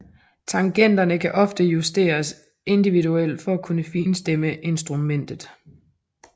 Tangenterne kan oftest justeres indiviudelt for at kunne finstemme instrumentnet